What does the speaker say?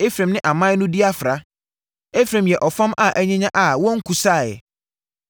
“Efraim ne aman no adi afra Efraim yɛ ɔfam a anyinya a wɔnkusaeɛ.